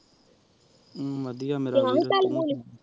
ਵਾਦਿਯ ਮੇਰ੍ਸ